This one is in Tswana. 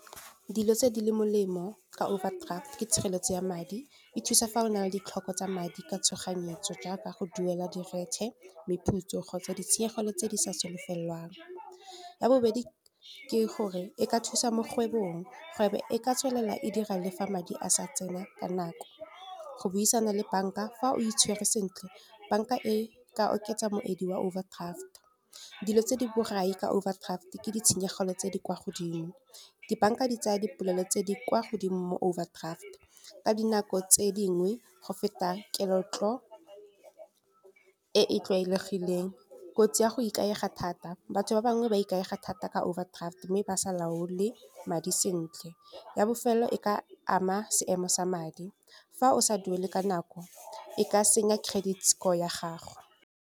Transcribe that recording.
Dilo tse di le molemo ka overdraft ke tshireletso ya madi. E thusa fa o na le ditlhoko tsa madi ka tshoganyetso jaaka go duela di le meputso kgotsa ditshenyegelo tse di sa solofelwang. Ya bobedi ke gore e ka thusa mo kgwebong, kgwebo e ka tswelela e dira le fa madi a sa tsena ka nako. Go buisana le bank-a fa o itshwere sentle bank-a e ka oketsa moedi wa overdraft. Dilo tse di borai ka overdraft ke ditshenyegelo tse di kwa godimo, di-bank-a di tsaya dipolelo tse di kwa godimo mo overdraft. Ka dinako tse dingwe go feta ketlo e e tlwaelegileng, kotsi ya go ikaega thata batho ba bangwe ba ikaega thata ka overdraft mme ba sa laole madi sentle. Ya bofelelo e ka ama seemo sa madi fa o sa duele ka nako, e ka senya credit score ya gago.